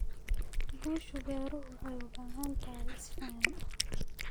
Guusha beeruhu waxay u baahan tahay isfaham.